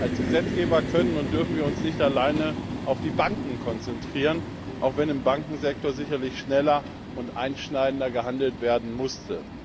Als Gesetzgeber können und dürfen wir uns nicht alleine auf die Banken konzentrieren, auch wenn im Bankensektor sicherlich schneller und einschneidender gehandelt werden musste.